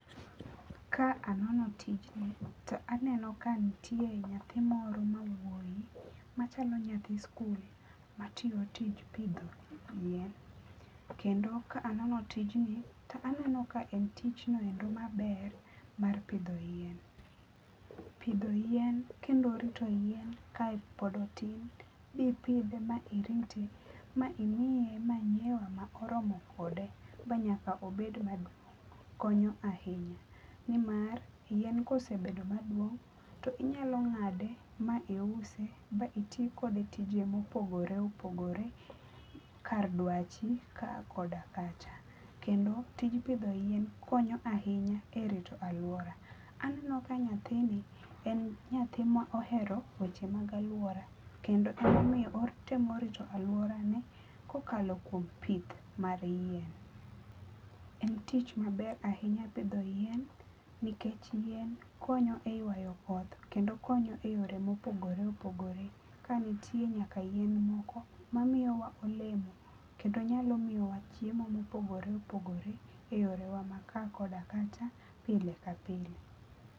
Ka anono tijni to aneno ka nitie nyathi moro ma wuoyi machalo nyathi skul matiyo tij pidho yien. Kendo ka anono tijni to aneno ka en tich noendo maber mar pidho yien. Pidho yien kendo rito yien kae pod otin mipidhe ma irite ma imiye manyuwa ma oromo kode manyaka obed maduong konyo ahinya nimar yien kosebedo maduong to inyalo ngade ma iuse ma itii kode tije mopogore opogore kar dwachi kaa koda kacha. Kendo tij pidho yien konyo ahinya e rito aluora. Aneno ka nyathini en nyathi ma ohero weche mag aluora kendo ema omiyo otemo rito aluora ne kokalo kuom pith mar yien. En tich maber ahinya pidho yien nikech yien konyo e ywayo koth kendo konyo e yore ma opogore opogore ka nitie nyaka yien moko mamiyowa olemo kendo nyalo miyowa chiemo mopogore opogore e yorewa mag kaa koda kacha pile ka pile